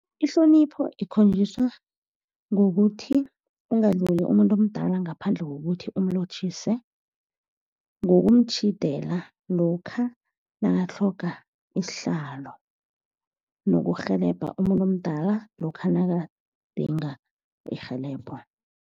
Ihlonipho ikhonjiswa ngokuthi ungadluli umuntu omdala ngaphandle kokuthi umlotjhise, ngokumtjhidela lokha nakatlhoga isihlalo, nokurhelebha umuntu omdala lokha nakadinga irhelebho.